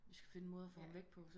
Vi skal finde en måde at få ham væk på